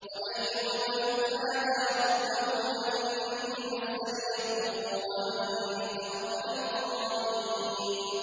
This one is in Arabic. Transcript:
۞ وَأَيُّوبَ إِذْ نَادَىٰ رَبَّهُ أَنِّي مَسَّنِيَ الضُّرُّ وَأَنتَ أَرْحَمُ الرَّاحِمِينَ